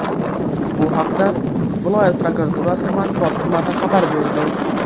Bu haqda viloyat prokuraturasi matbuot xizmati xabar berdi .